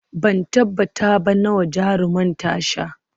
Ban tabbata ba nawa jarumar ta sha